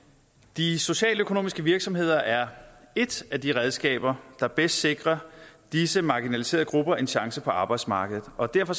de socialøkonomiske virksomheder er et af de redskaber der bedst sikrer disse marginaliserede grupper en chance på arbejdsmarkedet og derfor